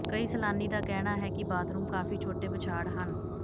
ਕਈ ਸੈਲਾਨੀ ਦਾ ਕਹਿਣਾ ਹੈ ਕਿ ਬਾਥਰੂਮ ਕਾਫ਼ੀ ਛੋਟੇ ਬੁਛਾਡ਼ ਹਨ